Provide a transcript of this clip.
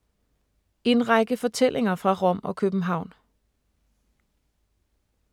En række fortællinger fra Rom og København